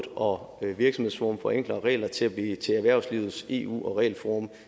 og virksomhedsforum for enklere regler til at blive erhvervslivets eu og regelforum